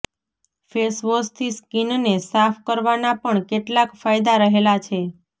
ફેશવોશથી સ્કીનને સાફ કરવાના પણ કેટલાક ફાયદા રહેલા છે